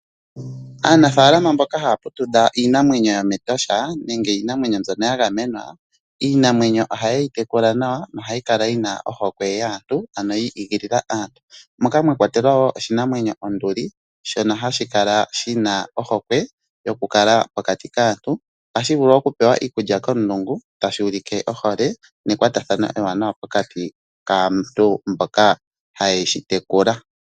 Aanafaalama mboka haya putudha iinamwenyo yomEtosha nenge iinamwenyo mbyono ya gamenwa, iinamwenyo ohaye yi tekula nawa nohayi kala yi na ohokwe yaantu ano yi igilila aantu. Omwa kwatelwa wo oshinamwenyo onduli shono hashi kala shi na ohokwe yokukala pokati kaantu. Ohashi vulu okupewa iikulya komulungu tashi ulike ohole nekwatathano ewanawa pokati kaantu mboka haye shi tekula.